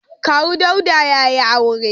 Kawu Dauda ya yi aure.